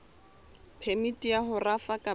phemiti ya ho rafa kapa